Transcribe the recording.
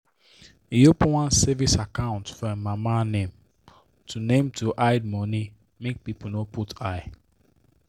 he open one savings account for him mama name to name to hide the money make people no put eye.